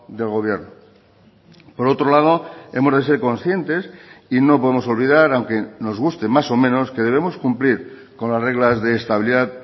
del gobierno por otro lado hemos de ser conscientes y no podemos olvidar aunque nos guste más o menos que debemos cumplir con las reglas de estabilidad